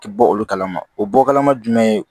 Ti bɔ olu kalama o bɔ kalama jumɛn ye